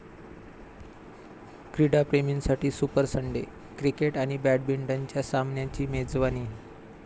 क्रीडाप्रेमींसाठी super Sunday! Cricket आणि बॅडमिंटनच्या सामन्यांची मेजवानी